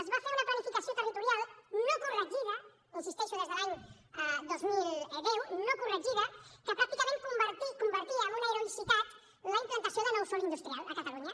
es va fer una planificació territorial no corregida hi insisteixo des de l’any dos mil deu no corregida que pràcticament convertia en una heroïcitat la implantació de nou sòl industrial a catalunya